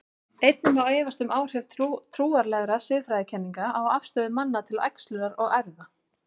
Einnig má efast um áhrif trúarlegra siðfræðikenninga á afstöðu manna til æxlunar og erfða.